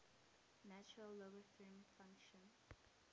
natural logarithm function